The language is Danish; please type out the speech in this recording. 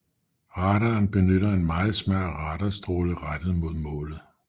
Radaren benytter en meget smal radarstråle rettet mod målet